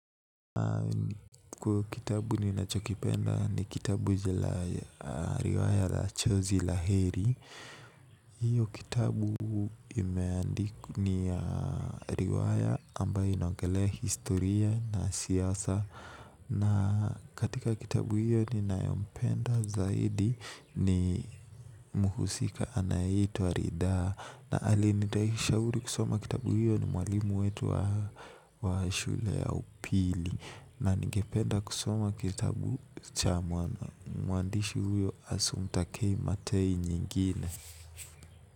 Kwa kitabu ninachokipenda ni kitabu jala riwaya la chozi la heri. Hiyo kitabu imeandikwa ni riwaya ambayo inaongelea historia na siasa. Na katika kitabu hiyo ninayompenda zaidi ni mhusika anayeitwa ridhaa. Na aliyenishauri kusoma kitabu hiyo ni mwalimu wetu wa shule ya upili. Na ningependa kusoma kitabu cha mwana mwandishi huyo asumpta kei matei nyingine.